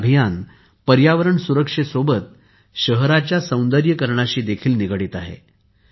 हे अभियान पर्यावरण सुरक्षे सोबतच शहराच्या सौंदर्यीकरणाशी देखील निगडित आहे